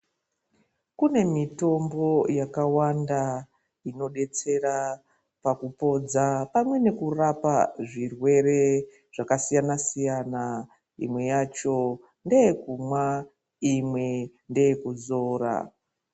Kune mitombo yakawanda inobetsera pakupodza pamwe nekurapa zvirwere zvakasiyana-siyana. Imwe yacho ndeye kumwa imwe ndeye kuzora.